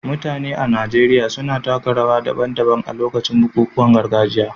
Mutane a Najeriya suna taka rawa daban-daban a lokacin bukukuwan gargajiya.